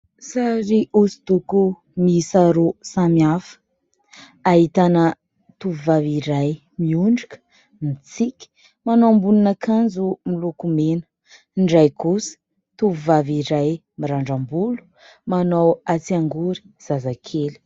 Sary hosodoko miisa roa samy hafa ahitana tovovavy iray miondrika mitsiky, manao ambonina akanjo miloko mena ny iray kosa tovovavy iray mirandram-bolo manao atsiangory zazakely.